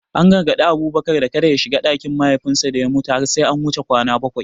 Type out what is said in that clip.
An gargadi Abubakar da kada ya shiga ɗakin mahaifinsa da ya mutu har sai an wuce kwana bakwai.